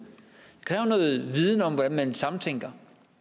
viden om hvordan man samtænker